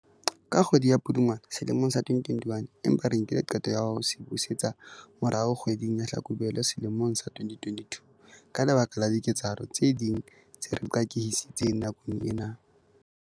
Ka kgwedi ya Pudungwana selemong sa 2021, empa re nkile qeto ya ho se busetsa morao kgwe ding ya Hlakubele sele mong sa 2022 ka lebaka la diketsahalo tse ding tse re qakehisitseng nakong ena.